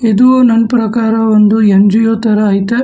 ಇದು ನನ್ ಪ್ರಕಾರ ಒಂದು ಎನ್_ಜಿ_ಓ ತರ ಐತೆ.